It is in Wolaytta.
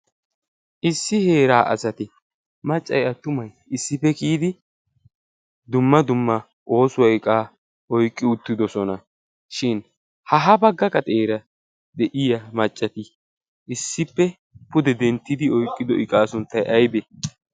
Issi heeraa asati maccay attumay issippe kiyidi dumma dumma oosuwaa oyqqi uttidosonashin ha ha baggaka gaxeera de'iya maccati issippe pude denttidi oyqqido iqaa sunttay aybee?